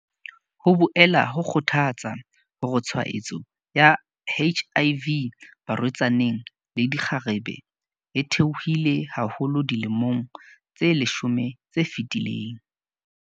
Ho boela ho kgothatsa hore tshwaetso ya HIV barwe-tsaneng le dikgarebe e the-ohile haholo dilemong tse leshome tse fetileng.